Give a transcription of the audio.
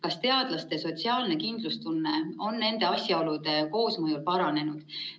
Kas teadlaste sotsiaalne kindlustunne on nende asjaolude koosmõjul paranenud?